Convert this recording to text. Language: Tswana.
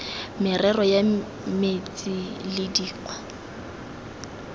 merero ya metsi le dikgwa